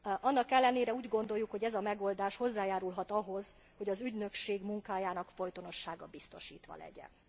Annak ellenére úgy gondoljuk, hogy ez a megoldás hozzájárulhat ahhoz, hogy az ügynökség munkájának folytonossága biztosítva legyen.